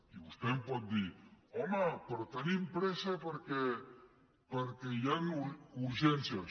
i vostè em pot dir home però tenim pressa perquè hi han urgències